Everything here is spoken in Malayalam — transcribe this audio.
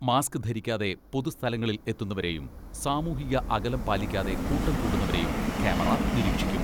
മാസ്ക് ധരിക്കാതെ പൊതു സ്ഥലങ്ങളിൽ എത്തുന്നവരേയും, സാമൂഹിക അകലം പാലിക്കാതെ കൂട്ടം കൂടുന്നവരേയും ക്യാമറ നിരീക്ഷിക്കും.